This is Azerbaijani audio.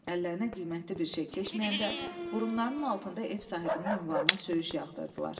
Əllərinə qiymətli bir şey keçməyəndə burunlarının altında ev sahibinin ünvanına söyüş yağdırdılar.